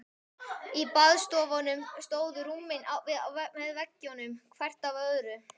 Í baðstofunum stóðu rúmin með veggjum, hvert fram af öðru.